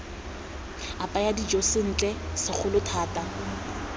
apaya dijo sentle segolo thata